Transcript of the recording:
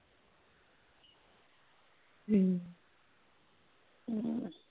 ਹਮ